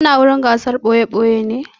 Kana wurin gasar ɓoye-ɓoye ne?